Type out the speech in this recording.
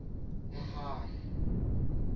mohale